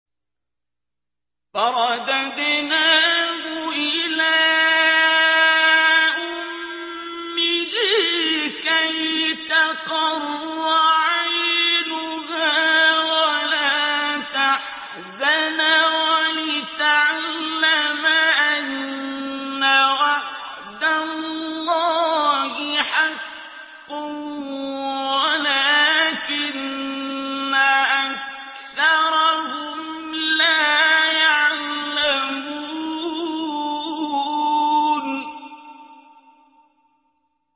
فَرَدَدْنَاهُ إِلَىٰ أُمِّهِ كَيْ تَقَرَّ عَيْنُهَا وَلَا تَحْزَنَ وَلِتَعْلَمَ أَنَّ وَعْدَ اللَّهِ حَقٌّ وَلَٰكِنَّ أَكْثَرَهُمْ لَا يَعْلَمُونَ